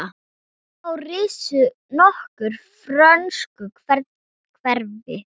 Þá risu nokkur frönsk hverfi.